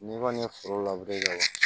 N'i kɔni ye foro kɛ wa